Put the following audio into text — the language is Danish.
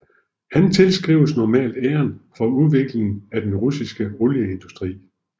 Han tilskrives normalt æren for udviklingen af den russiske olieindustri